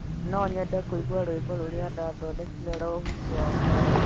No nyende kũigua rwĩmbo rũrĩa ndaathondekire rwa ũhiki wakwa.